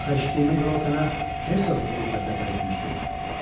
Axı eşitdiyimə görə o sənə hersoqluq rütbə səta etmişdi.